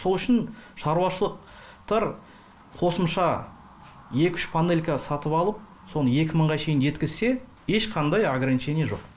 сол үшін шаруашылық қосымша екі үш панелька сатып алып соны екі мыңға шейін жеткізсе ешқандай ограничение жоқ